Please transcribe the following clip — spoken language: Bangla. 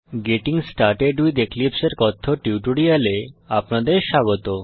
গেটিং স্টার্টেড উইথ এক্লিপসে এর কথ্য টিউটোরিয়ালে আপনাদের স্বাগত